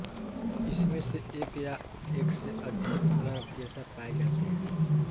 इसमें से एक या एक से अधिक गर्भकेशर पाए जाते हैं